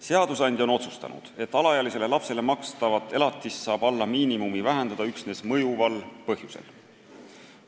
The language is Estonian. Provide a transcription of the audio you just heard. Seadusandja on otsustanud, et alaealisele lapsele makstavat elatist saab alla miinimumi vähendada üksnes mõjuval põhjusel.